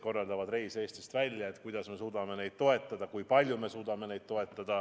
Kuidas ja kui palju me suudame neid toetada?